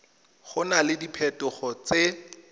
go na le diphetogo tse